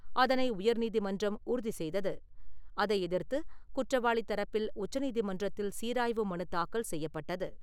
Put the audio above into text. அதனை உயர்நீதிமன்றம் உறுதி செய்தது. அதை எதிர்த்து குற்றவாளி தரப்பில் உச்சநீதிமன்றத்தில் சீராய்வு மனு தாக்கல் செய்யப்பட்டது.